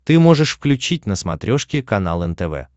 ты можешь включить на смотрешке канал нтв